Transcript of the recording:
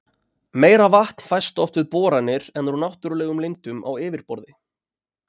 Meira vatn fæst oft við boranir en úr náttúrlegum lindum á yfirborði.